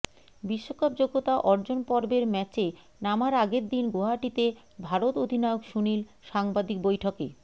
বিশ্বকাপ যোগ্যতা অর্জন পর্বের ম্যাচে নামার আগের দিন গুয়াহাটিতে ভারত অধিনায়ক সুনীল সাংবাদিক বৈঠকে